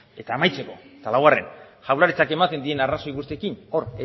eta amaitzeko eta laugarren jaurlaritzak ematen dien arrazoi guztiekin hor